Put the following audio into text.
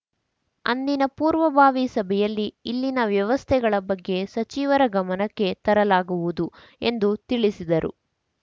ಅಂದಿನ ಪೂರ್ವಭಾವಿ ಸಭೆಯಲ್ಲಿ ಇಲ್ಲಿನ ವ್ಯವಸ್ಥೆಗಳ ಬಗ್ಗೆ ಸಚಿವರ ಗಮನಕ್ಕೆ ತರಲಾಗುವುದು ಎಂದು ತಿಳಿಸಿದರು